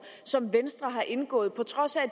som venstre har indgået på trods af at